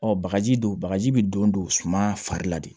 Ɔ bagaji don bagaji bɛ don don suma fari la de